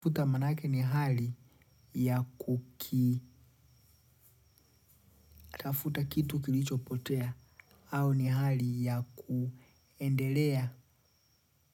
Tafuta maana yake ni hali ya kuki, tafuta kitu kilicho potea, au ni hali ya kuendelea,